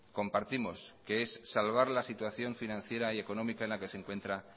compartimos que es salvar la situación financiera y económica en la que se encuentra